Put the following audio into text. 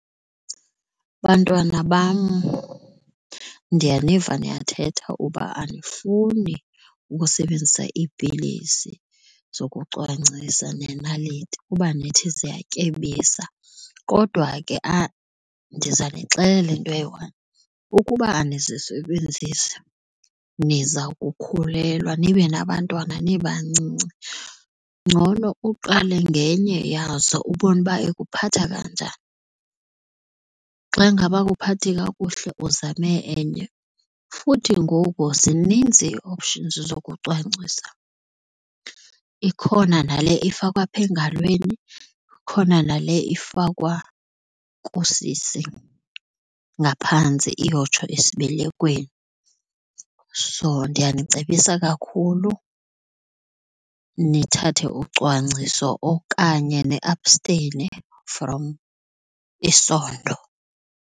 Bantwana bam, ndiyaniva niyathetha uba anifuni ukusebenzisa iipilisi zokucwangcisa nenaliti kuba nithi ziyatyebisa kodwa ke ndiza nixelela nto eyi-one ukuba anizisebenzisi niza kukhulelwa nibe nabantwana nibancinci. Ngcono uqale ngenye yazo ubone uba ekuphatha kanjani. Xa ngaba ayikuphathi kakuhle uzame enye futhi ngoku zininzi ii-options zokucwangcisa, ikhona nale ifakwa phaa engalweni khona nale ifakwa kusisi ngaphantsi iyotsho esibelekweni. So, ndiyanicebisa kakhulu nithathe ucwangciso okanye niapsteyine from isondo.